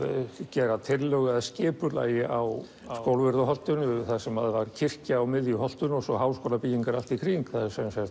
gera tillögu að skipulagi á Skólavörðuholtinu þar sem var kirkja á miðju holtinu og svo háskólabyggingar allt í kring það